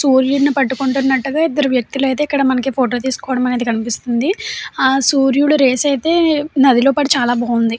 సూర్యుడిని పట్టుకుంటున్నట్టుగా ఇద్దరు వ్యక్తులైతే ఇక్కడ మనకి ఫోటో తీసుకోవడం కనిపిస్తుంది. ఆ సూర్యుడు రేస్ అయితే నది లో పడి చాలా బాగుంది.